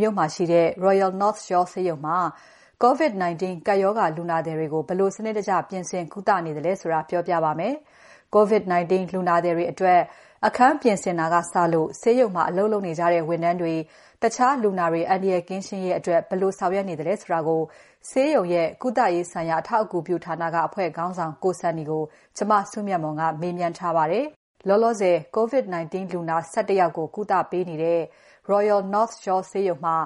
မြို့မှာရှိတဲ့ Royal North Shore ဆေးရုံမှာ COVID-19 ကပ်ရောဂါလူနာသည်တွေကို ဘယ်လိုစနစ်တကျပြင်ဆင် ကုသနေသလဲဆိုတာ ပြောပြပါမယ်။ COVID-19 လူနာတွေအတွက် အခန်းပြင်ဆင်တာကစလို့ ဆေးရုံမှာအလုပ်လုပ်နေကြတဲ့ ဝန်ထမ်းတွေ၊ တခြားလူနာတွေ အန္တရာယ်ကင်းရှင်းရေးအတွက် ဘယ်လိုဆောင်ရွက်နေသလဲဆိုတာကို ဆေးရုံရဲ့ကုသရေးဆိုင်ရာ အထောက်အကူပြုဌာနက အဖွဲ့ခေါင်းဆောင် ကို Sunny ကို မစုမြတ်မွန်က မေးမြန်းထားပါတယ်။ လောလောဆယ် COVID-19 လူနာ ၁၁ ယောက်ကို ကုသပေးနေ Royal North Shore ဆေးရုံမှာ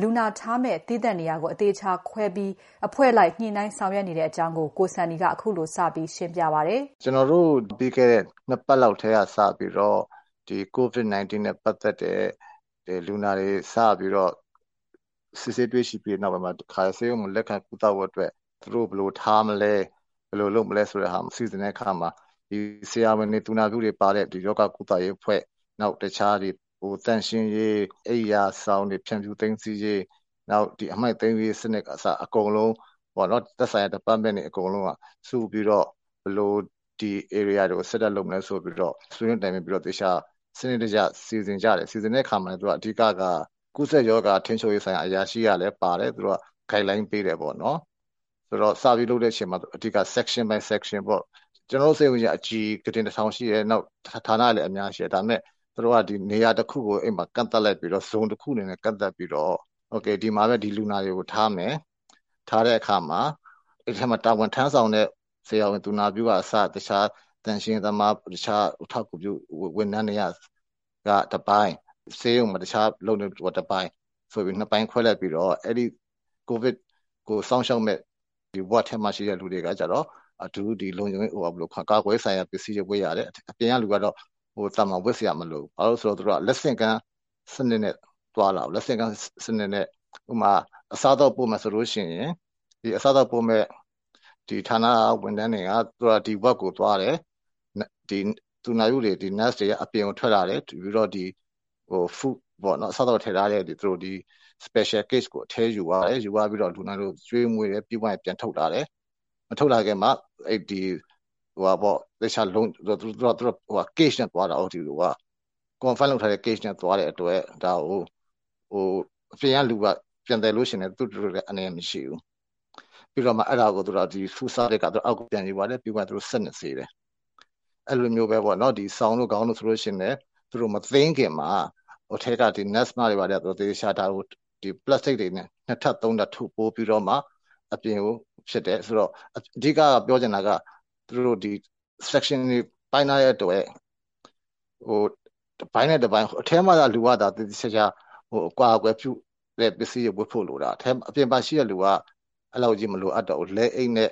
လူနာထားမယ့် သီးသန့်နေရာကို အသေအချာခွဲပြီး အဖွဲ့လိုက်ညှိနှိုင်းဆောင်ရွက်တဲ့အကြောင်း ကို Sunny ကခုလို စပြီးရှင်းပြပါတယ်။ ကျနော်တို့ ပြီးခဲ့တဲ့ ၂ ပတ်လောက်က စပြီးတော့ COVID-19 လူနာတွေ စပြီး စစ်ဆေးတွေ့ရှိခဲ့တဲ့ နောက်ပိုင်းမှာ တခါတည်း ဆေးရုံမှာ လက်ခံကုသဖို့အတွက် သူတို့ကို ဘယ်လိုထားမလဲ၊ ဘယ်လိုလုပ်မလဲဆိုတဲ့နေရာစီစဉ်တဲ့အခါမှာ ဆရာဝန်တွေ ၊ သူနာပြုတွေ ပါတဲ့ ရောဂါကုသရေးအဖွဲ့ တခြားသန့်ရှင်းရေး၊ အိပ်ရာဆောင်တွေ ဖြန့်ဖြူးသိမ်းဆည်းရေး၊ အမှိုက်သိမ်းတဲ့စနစ်က အစ အကုန်လုံး သက်ဆိုင်ရာ Department တွေအကုန်လုံးစုပြီးတော့ ဘယ်လို ဒီ ဧရိယာကို set up လုပ်မလဲဆိုပြီးတော့ ဆွေးနွေးတိုင်ပင်ပြီးတော့ သေချာ စနစ်တကျ စီစဉ်တယ်။ အဲလို စီစဉ်တဲ့အခါမှာလည်း အဓိကက ကူးစက်ရောဂါ ထိန်းချုပ်ရေး ဆိုင်ရာအရာရှိကလည်းသူက Guide line ပေးတယ်။ ဆိုတော့ စပြီးလုပ်တဲ့အချိန်မှာ အဓိက section by section ကျနော်တို့ ဆေးရုံက အကြီးကြီး ၊ ဌာနတွေလည်း အများကြီးရှိတယ်။ သူတို့က နေရာတခုကို ကန့်သတ်လိုက်ပြီးတော့ ဒီမှာတော့ ဒီလူနာတွေကို ထားမယ်။ ထားတဲ့အခါမှာ အဲဒီမှာ တာဝန်ထမ်းဆောင်တဲ့ ဆရာဝန် သူနာပြုအစ အခြား သန့်ရှင်းရေးသမား တခြားအထောက်အကူပြု ဝန်ထမ်းတွေက တပိုင်း ၊ ဆေးရုံမှာ အလုပ်လုပ်နေတဲ့သူတွေ တပိုင်း ဆိုပြီး ၂ ပိုင်းခွဲလိုက်ပြီးတော့ အဲဒီ COVID ကို စောင့်ရှောက်မယ့် အဆောင်ထဲမှာ ရှိတဲ့လူတွေက ကာကွယ်ရေးဆိုင်ရာ ပစ္စည်းတွေ ဝတ်ရတယ်။ အပြင်လူကတော့ သာမန် ဝတ်စရာမလိုဘူးပေါ့နော်။ ဘာဖြစ်လို့လဲဆိုတော့ သူက လက်ဆင့်ကမ်း စနစ်နဲ့ သွားတာကို လက်ဆင့်ကမ်းက ဥပမာ- အစားအသောက်ပို့မယ်ဆိုရင် အစားအသောက်ပို့မယ့် ဌာနက ဝန်ထမ်းတွေက ဒီ အဆောင်ကို သွားတယ်။ သူနာပြုတွေ က အပြင်ကိုထွက်လာပြီးတော့ အစားအသောက်ထည့်ထားတဲ့ special case ကို အထဲယူသွားတယ်။ ပြီးတော့ လူနာတွေကို ကျွေးမွေးတယ်။ ပြီးသွားရင် ပြန်ထုတ်လာတယ် မထုတ်လာခင်မှာ သူက အလုံပိတ်ထားတဲ့ ဘူးနဲ့ သွားတဲ့အတွက် အပြင်ကလူက ပြန်သယ်ရင်လည်း သူ့အတွက် အန္တရာယ်မရှိဘူး။ ပြီးတော့ Food Service က အောက်ကို ယူသွားတယ် ပြီးရင် စက်နဲ့ ဆေးတယ်။ အဲလိုမျိုးပဲ စောင်တွေ ခေါင်းအုံးတွေဆိုရင်လည်း သူတို့ မသိမ်းခင်မှာ အထဲက Nurse တွေက ဒါကို သေသေချာချာ ပလပ်စတစ်နဲ့ သေသေချာချာ ထုတ်ပိုးပြီးတော့မှ အပြင်ကို ထုတ်တယ်။ အဓိက ပြောချင်တာက section တွေပိုင်းထားတဲ့အတွက် တပိုင်းနဲ့ တပိုင်း ၊ အထဲမှာနေတဲ့လူကတော့ သေသေချာချာ အကာအကွယ် ပစ္စည်းတွေ ဝတ်ဖို့လိုတာ အပြင်မှာရှိတဲ့လူကတော့ လက်အိတ်နဲ့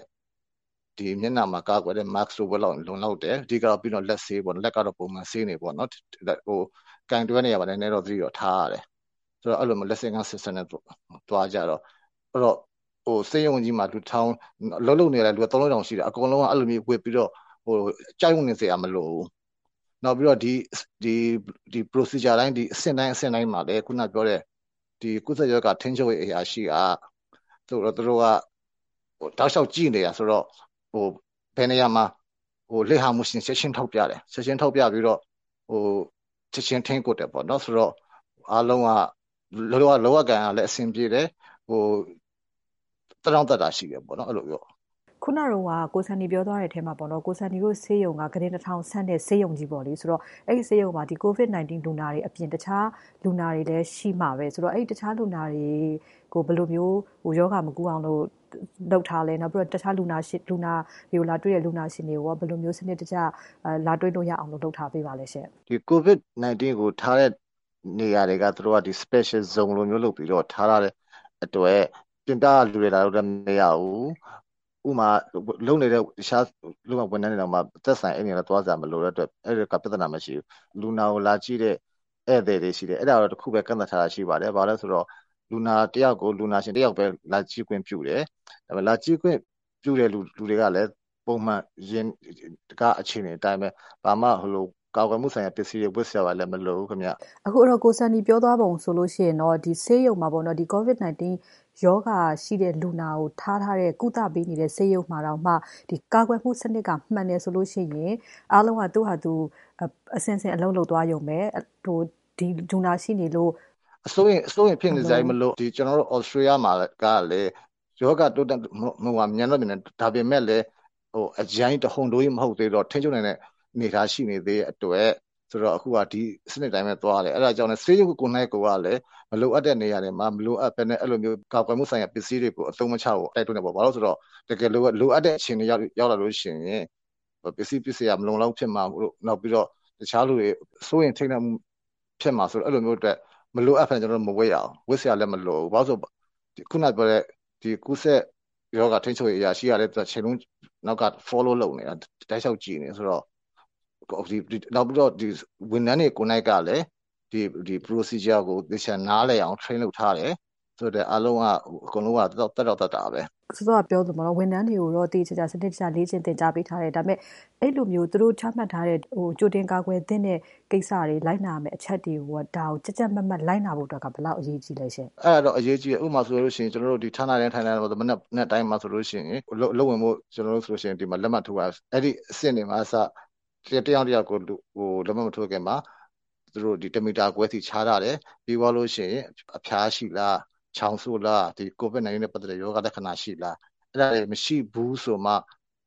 အပြင်မှာ mask တွေ တပ်ဖို့ပဲ လိုတယ်။ အဓိကတော့ လက်ဆေးဖို့ပေါ့နော် လက်ကတော့ ပုံမှန် ဆေးနေဖို့ ။ နောက်ပြီး ကိုင်တွယ်တဲ့နေရာမှာ သတိတော့ ထားရတယ်။ အဲလိုမျိုး လက်ဆင့်ကမ်း system နဲ့ သွားတော့ ဆေးရုံမှာ အလုပ်လုပ်နေတာက ၃ထောင် ၄ ထောင်ရှိတာ အကုန်လုံးက ကြောက်နေစရာမလိုဘူး။ နောက်ပြီးတော့ အဆင့်တိုင်းအဆင့်တိုင်းမှာလည်း ခုနကပြောတဲ့ ကူးစက်ရောဂါ ထိန်းချုပ်ရေးအရာရှိက သူတို့က တောက်လျှောက်ကြည့်နေတာဆိုတော့ ဘယ်နေရာမှာ လစ်ဟာမှုရှိသလဲဆိုတာ ချက်ချင်းထောက်ပြတယ် ချက်ချင်း ထိန်းကွပ်တယ်ပေါ့နော် ဆိုတော့ အားလုံးက လုပ်ရကိုင်ရတာ အဆင်ပြေတယ်။ သက်တောင့်သက်သာရှိတယ်ပေါ့။ ကို Sunnyတို့ ဆေးရုံက ကုတင် ၁၀၀၀ ဆန့်တဲ့ ဆေးရုံကြီးပေါ့လေ အဲဒီဆေးရုံမှာ COVID-19 လူနာတွေအပြင် တခြားလူနာတွေလည်း ရှိမှာပဲ ဆိုတော့ တခြားလူနာတွေကို ဘယ်လိုမျိုး ရောဂါမကူးအောင်လုပ်ထားသလဲ၊ လူနာတွေကို လာတွေ့တဲ့ လူတွေကို ဘယ်လိုစနစ်တကျ လာတွေ့လို့ရအောင် လုပ်ထားသလဲ COVID-19 လူနာတွေကို ထားတဲ့နေရာတွေ သူတို့ Special zone လိုမျိုး လုပ်ပြီးတော့ ထားတဲ့အတွက် တခြားလူနာတွေနဲ့ ခွဲထားတယ်။ ဥပမာ အလုပ် လုပ်နေတဲ့ ဝန်ထမ်းတွေတောင် အဲဒီနေရာကို မသက်ဆိုင်ရင် သွားစရာမလိုဘူး။ လူနာကို လာကြည့်တဲ့ ဧည့်သည်တွေရှိတယ် အဲဒါကို တခုပဲ ကန့်သတ်ထားတာရှိပါတယ်။ အဲဒါဘာလဲဆိုတော့ လူနာတယောက်ကို လူနာရှင် တယောက်ပဲ လာကြည့်ခွင့်ပြုတယ်။ လာကြည့်ခွင့်ပြုသူတွေကလည်း ဘာမှ ကာကွယ်ပစ္စည်းဝတ်စရာမလိုဘူး COVID-19 လူနာတွေကို ကုသပေးနေတဲ့ ဆေးရုံမှာတောင် ကာကွယ်မှု စနစ်မှန်တယ်ဆိုရင် အားလုံးက အဆင့်ဆင့် အလုပ်လုပ်သွားရုံပဲ။ အစိုးရိမ်ဖြစ်နေစရာမလိုပါဘူး ကျနော်တို့ Australia မှာ ရောဂါတိုးတက်နှုန်းက မြန်တယ် ဒါပေမယ့် အရမ်းကြီး တဟုန်တိုးမဟုတ်သေးတော့ ထိန်းချုပ်နိုင်တဲ့ အနေအထား ရှိနေသေးတဲ့အတွက် အခုတော့ ဒီစနစ်အတိုင်းသွားတယ် အဲဒါကြောင့် ဆေးရုံကိုယ်တိုင်က မလိုအပ်တဲ့ နေရာတွေမှာ မလိုအပ်ပဲနဲ့ ကာကွယ်မှုဆိုင်ရာကို မသုံးသင့်ဘူး ဘာဖြစ်လို့လဲဆိုတော့ တကယ်လိုအပ်တဲ့အချိန်ရောက်လာရင် ပစ္စည်းမလုံမလောက်ဖြစ်မှာတို့ ၊ တခြားလူတွေ စိုးရိမ်ထိန့်လန့်မှု ဖြစ်မှာ စိုးတဲ့အတွက် မလိုအပ်ပဲနဲ့ မဝတ်ရဘူး။ ဝတ်စရာလည်း မလိုဘူး။ ခုနပြောတဲ့ ကူးစက်ရောဂါ ထိန်းချုပ်ရေးအရာရှိကလည်း တချိန်လုံး Follow လုပ်နေတာ ။ နောက်ပြီးတော့ ဝန်ထမ်းတွေကိုယ်တိုင်ကလည်း ဒီ procedure ကို သေချာနားလည်အောင် Train လုပ်ထားရတယ်။ အဲဒါကြောင့် အကုန်လုံးက သက်တောင့်သက်သာပဲ။ စောစောက ပြောသလို ဝန်ထမ်းတွေကိုတော့ သေသေချာချာ လေ့ကျင့် သင်ကြားပေးထားတယ်။ ဒါပေမယ့် အဲလိုမျိုး သူတို့ ချမှတ်ထားတဲ့ ကြိုတင်ကာကွယ်သင့်တဲ့ ကိစ္စ လိုက်နာရမယ့်အချက်တွေကို ကြပ်ကြပ်မတ်မတ်လိုက်နာဖို့အတွက်က ဘယ်လောက် အရေးကြီးသလဲရှင့်။ အဲဒါကတော့ အရေးကြီးတယ် ၊ ဌာနတိုင်းမှာ မနက်တိုင်းဆိုရင် အလုပ်ဝင်ဖို့ လက်မှတ်ထိုးရတဲ့ အဆင့်တွေကအစ တယောက်နဲ့ တယောက် လက်မှတ် မထိုးခင်မှာ တမီတာ ခွဲစီ ခြားထားတယ်။ ပြီးရင် အဖျားရှိလား ၊ ချောင်းဆိုးလား COVID-19 နဲ့ ပတ်သက်တဲ့ ရောဂါလက္ခဏာရှိလား အဲဒါတွေ မရှိဘူးဆိုမှ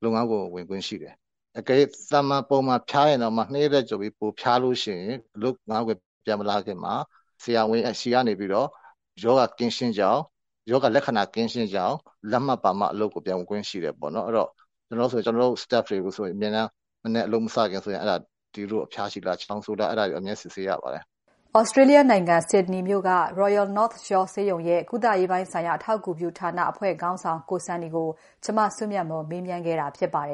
လုပ်ငန်းခွင် ဝင်ခွင့်ရှိတယ်။ အကယ်၍ သာမန်ဖျားရင်တောင်မှ ၂ ရက်ထက်ပိုပြီး ဖျားရင် ဆရာဝန်ကနေ ရောဂါ ကင်းရှင်းကြောင်း လက်မှတ်ပါမှ အလုပ်ပြန်ဝင်ခွင့်ရှိတယ် အဲဒီတော့ လောလောဆည် ကျနေ်ာတို့ ဝန်ထမ်းတွေဆိုရင်လည်း အလုပ်မစခင် အဖျားရှိလား ချောင်းဆိုးလားဆိုတာကို အမြဲစစ်ဆေးရပါတယ်။ Australia နိုင်ငံ Sydney မြို့ က Royal North Shore ဆေးရုံရဲ့ကုသရေးဆိုင်ရာ အထောက်အကူပြု ဌာနက ကို Sunny ကို မစုမြတ်မွန် မေးမြန်းခဲ့တာဖြစ်ပါတယ်